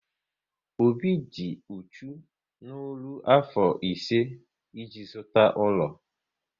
Obi dị uchu n'ọrụ afọ ise e ji zụta ụlọ